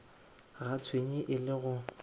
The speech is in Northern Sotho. ga tšhwene e le go